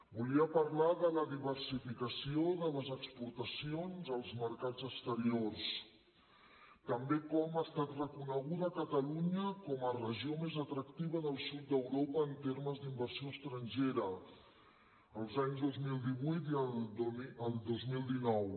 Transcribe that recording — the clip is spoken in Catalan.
volia parlar de la diversificació de les exportacions als mercats exteriors també de com ha estat reconeguda catalunya com a regió més atractiva del sud d’europa en termes d’inversió estrangera els anys dos mil divuit i el dos mil dinou